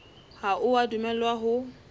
ha o a dumellwa ho